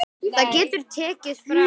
Það getur tekið frá